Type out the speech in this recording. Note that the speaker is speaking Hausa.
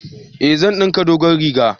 Eh, zan dinka dogon riga